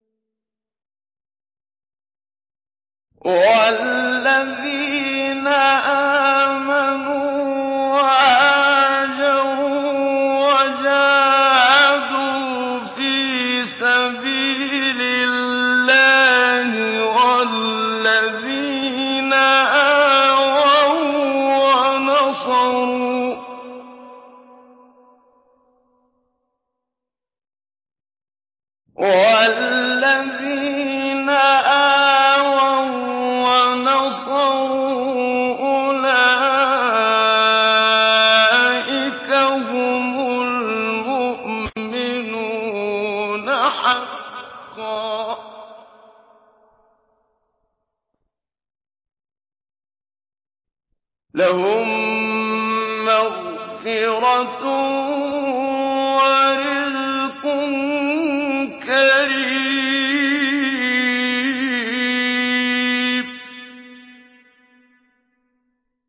وَالَّذِينَ آمَنُوا وَهَاجَرُوا وَجَاهَدُوا فِي سَبِيلِ اللَّهِ وَالَّذِينَ آوَوا وَّنَصَرُوا أُولَٰئِكَ هُمُ الْمُؤْمِنُونَ حَقًّا ۚ لَّهُم مَّغْفِرَةٌ وَرِزْقٌ كَرِيمٌ